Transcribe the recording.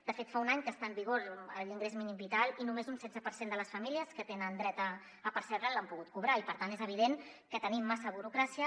de fet fa un any que està en vigor l’in·grés mínim vital i només un setze per cent de les famílies que tenen dret a percebre’l l’han pogut cobrar i per tant és evident que tenim massa burocràcia